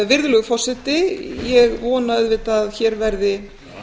virðulegur forseti þannig að ég vona auðvitað að hér verði